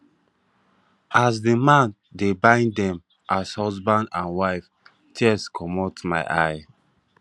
as the the man dey bind dem as husband and wife tears comot for my eye